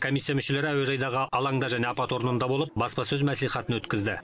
комиссия мүшелері әуежайдағы алаңда және апат орнында болып баспасөз мәслихатын өткізді